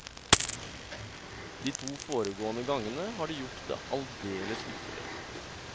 De to foregående gangene har de gjort det alldeles ypperlig.